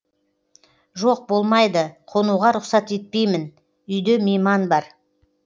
жоқ болмайды қонуға рұқсат етпеймін үйде мейман бар